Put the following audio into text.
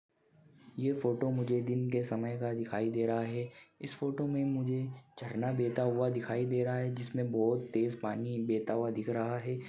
ये फोटो मुझे दिन के समय का दिखाई दे रहा है इस फोटो में मुझे झरना बेहता हुआ दिखाई दे रहा है जिसमे बहुत तेज पानी बेहता हुआ दिख रहा है।